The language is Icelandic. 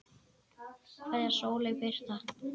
Kveðja, Sóley Birta.